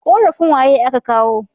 Korafin waye a ka kawo